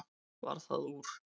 Varð það úr.